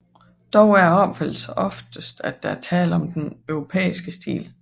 Dog er opfattelsen oftest at der er tale om den europæiske stil